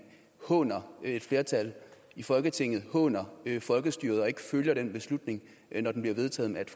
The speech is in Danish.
håner et flertal i folketinget altså håner folkestyret og ikke følger en beslutning når den bliver vedtaget med et